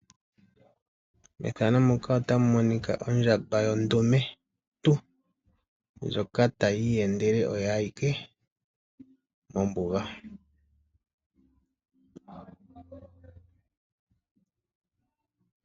Mpano otapu holoka ondjamba yondumentu ndjoka ta yi iyendele oyo ayike mombuga.